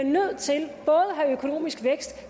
have økonomisk vækst